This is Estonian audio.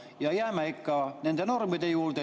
Ja jääme ikka nende normide juurde.